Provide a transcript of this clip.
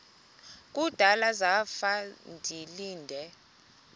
kudala zafa ndilinde